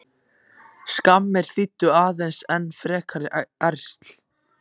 Skammir þýddu aðeins enn frekari ærsl.